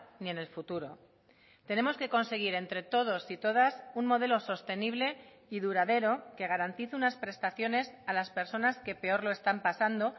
ni en el futuro tenemos que conseguir entre todos y todas un modelo sostenible y duradero que garantice unas prestaciones a las personas que peor lo están pasando